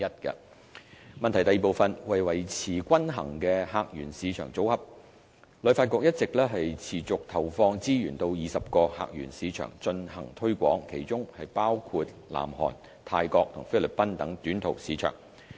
二為維持均衡的客源市場組合，旅發局一直持續投放資源到20個客源市場進行推廣，當中包括南韓、泰國及菲律賓等短途市場。